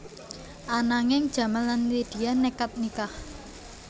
Ananging Jamal lan Lydia nékad nikah